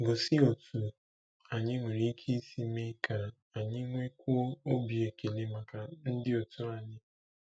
Gosi otú anyị nwere ike isi mee ka anyị nwekwuo obi ekele maka ndị òtù anyị.